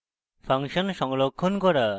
function সংরক্ষণ করা